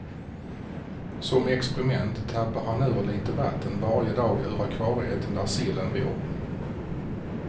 Som experiment tappar han ur lite vatten varje dag ur akvariet där sillen bor.